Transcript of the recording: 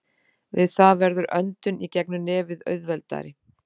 Við það verður öndun í gegnum nefið auðveldari.